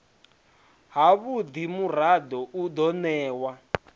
havhudi murado u do newa